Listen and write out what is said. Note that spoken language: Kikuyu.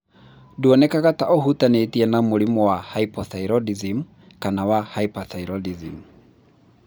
Ndũonekaga ta ũhutanĩtie na mũrimũ wa hypothyroidism kana wa hyperthyroidism.